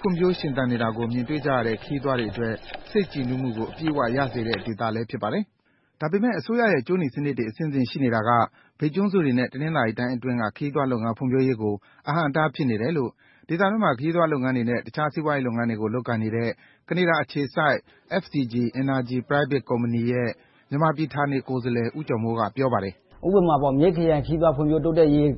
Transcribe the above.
ဖွံ့ဖြိုးရှင်သန်နေတာကို မြင်တွေ့ရတဲ့ ခရီးသွားတွေအတွက် စိတ်ကြည်နူးမှုကို အပြည့်အဝရစေတဲ့ ဒေသလည်း ဖြစ်ပါတယ်။ ဒါပေမဲ့ အစိုးရရဲ့ ကြိုးနီစနစ်တွေအဆင့်ဆင့် ရှိနေတာက မြိတ်ကျွန်းစုတွေနဲ့ တနင်္သာရီတိုင်းအတွင်းက ခရီးသွားလာရေး ဖွံ့ဖြိုးမှုကို အဟန့်အတားဖြစ်နေတယ်လို့ ဒေသတွင်းမှာ ခရီးသွားလုပ်ငန်းတွေနဲ့ အခြားစီးပွားရေးလုပ်ငန်းတွေ လုပ်ကိုင်နေတဲ့ ကနေဒါအခြေစိုက် FCG Energy Private Company ရဲ့ မြန်မာပြည်ဌာနေကိုယ်စားလှယ် ဦးကျော်မိုး က ပြောပါတယ်။ ဦးကျော်မိုး ။ ။ ဥပမာ မြိတ်ခရိုင်ခရီးသွားလာ တိုးတက်ရေး